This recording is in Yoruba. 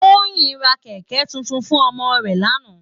Toyin rá kèkè tútún fún òmò rè làná